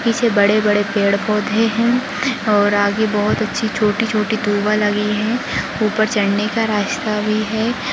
पीछे बड़े बड़े पेड़ पौधे है और आगे बहुत अच्छी छोटी छोटी तुबा लगी है ऊपर चढ़ने का रास्ता भी है।